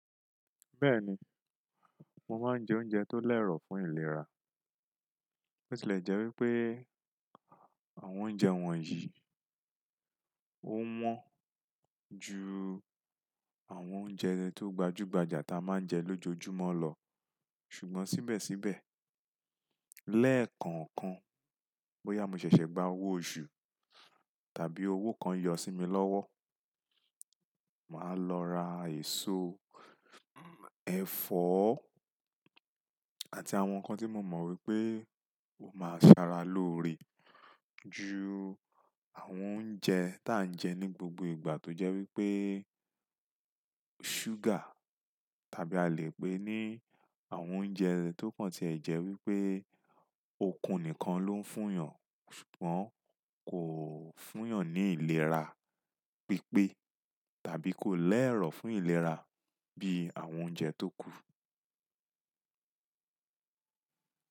Bẹ́ẹ̀ni, mo máa ń jẹ oúnjẹ tó lẹ́rọ̀ fún ìlera. Ó sì lè jẹ́ wípé àwọn oúnjẹ wọ̀nyí ó wọ́n ju àwọn oúnjẹ tó gbajúgbajà tí a máa ń jẹ lójoojúmọ́ lọ. Ṣùgbọ́n síbẹ̀síbẹ̀ lẹ́ẹ̀kọ̀ọ̀kan bóyá mo ṣẹ̀ṣẹ̀ gba owó oṣù tàbí owó kan yọ sí mi lọ́wọ́, màá lọ ra èso, ẹ̀fọ́ àti àwọn nǹkan tí mo mọ̀ wípé, máa se ara lóore ju àwọn oúnjẹ tí à ń jẹ ní gbogbo ìgbà tó jẹ́ wípé ṣúgà tàbí a lè pè é ní àwọn oúnjẹ tó kan tí ẹ̀ jẹ́ wípé ó okun nìkan ló ń fún ìyàn. Ṣùgbọ́n kò fún ìyàn ní ìlera pípé tàbí kò lẹ́rọ̀ fún ìlera bí i àwọn oúnjẹ tó kù.